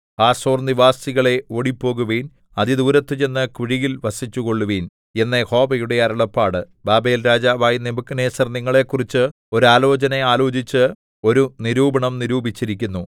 ഹാസോർനിവാസികളേ ഓടിപ്പോകുവിൻ അതിദൂരത്തു ചെന്ന് കുഴിയിൽ വസിച്ചുകൊള്ളുവിൻ എന്ന് യഹോവയുടെ അരുളപ്പാട് ബാബേൽരാജാവായ നെബൂഖദ്നേസർ നിങ്ങളെക്കുറിച്ച് ഒരു ആലോചന ആലോചിച്ച് ഒരു നിരൂപണം നിരൂപിച്ചിരിക്കുന്നു